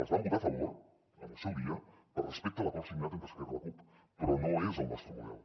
els vam votar a favor en el seu dia per respecte a l’acord signat entre esquerra i la cup però no és el nostre model